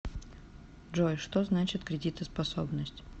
джой что значит кредитоспособность